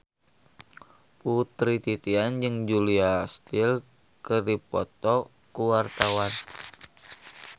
Putri Titian jeung Julia Stiles keur dipoto ku wartawan